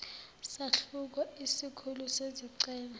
sahluko isikhulu sezicelo